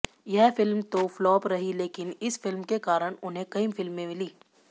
यह फिल्म तो फ्लॉप रही लेकिन इस फिल्म के कारण उन्हें कईं फिल्में मिली